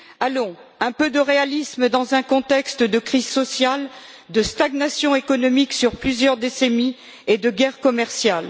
Allons, un peu de réalisme dans un contexte de crise sociale, de stagnation économique sur plusieurs décennies et de guerre commerciale.